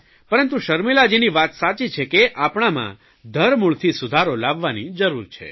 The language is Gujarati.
પરંતુ શર્મિલાજીની વાત સાચી છે કે આપણામાં ધરમૂળથી સુધારો લાવવાની જરૂર છે